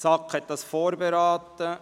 Die SAK hat diesen Bericht vorberaten.